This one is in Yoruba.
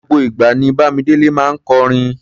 Gbogbo ìgbà ní Bámidélé máa ń kọrin.